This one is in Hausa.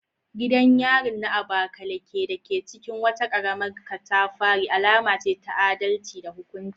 Gidan yarin na Abakaleke, dake cikin wata karamar katafari, alama ce ta adalci da hukunci.